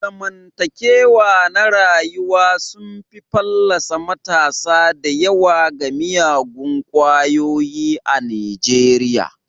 Zamantakewa na rayuwa sun fallasa matasa da yawa ga miyagun kwayoyi a Nijeriya.